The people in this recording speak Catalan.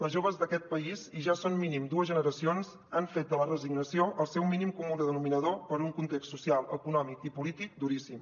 les joves d’aquest país i ja són mínim dues generacions han fet de la resignació el seu mínim comú denominador per un context social econòmic i polític duríssim